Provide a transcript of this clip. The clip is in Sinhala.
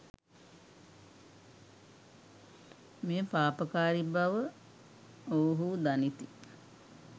මෙය පාපකාරී බව ඔවුහු දනිති.